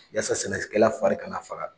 Yaasa sɛnɛkɛla fari kana faga.